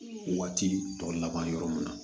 Waati tɔ laban yɔrɔ mun na